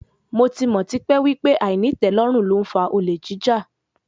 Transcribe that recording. Mo ti mọ̀ tipẹ́ wípé àìnítẹ̀lórùn ló ń fa olè jíjà.